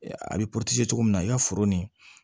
A bɛ cogo min na i ka foro nin